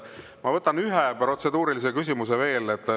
Ma võtan ühe protseduurilise küsimuse veel.